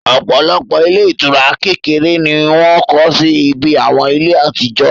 òpòlopò ilé ìtura kekere ni wọ́n kọ́ sí ibi àwọn ilé àtijó